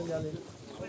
Ehtiyatla gəlin.